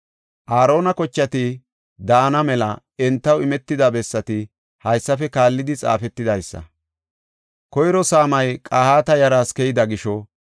Aarona kochati daana mela entaw imetida bessati haysafe kaallidi xaafetidaysa. Koyro saamay Qahaata yaraas keyida gisho